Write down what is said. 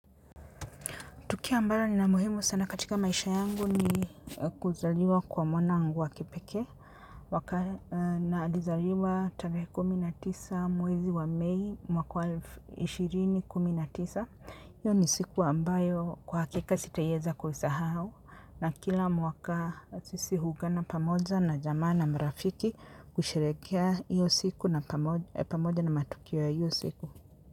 Tukio ambalo ni la muhimu sana katika maisha yangu ni kuzaliwa kwa mwanangu wa kipekee. Mwaka na alizaliwa tarehe kumi na tisa mwezi wa Mi mwakwa elfu mbili na kumi na tisa. Iyo ni siku ambayo kwa hakika sitaiweza kuisahau. Na kila mwaka sisi huungana pamoja na jamaa na marafiki kusherehekea iyo siku na pamoja na matukio ya hiyo siku.